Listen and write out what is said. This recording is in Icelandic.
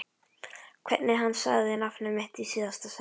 Hvernig hann sagði nafnið mitt í síðasta sinn.